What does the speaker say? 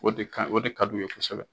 O de ka o de ka di u ye kosɛbɛ.